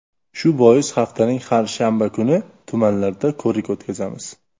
Shu bois haftaning har shanba kuni tumanlarda ko‘rik o‘tkazamiz.